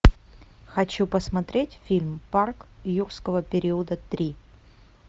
хочу посмотреть фильм парк юрского периода три